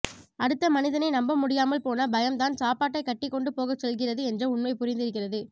அடுத்த மனிதனை நம்பமுடியாமல் போன பயம் தான் சாப்பாட்டை கட்டி கொண்டு போகச் செல்கிறது என்ற உண்மை புரிந்திருக்கிறது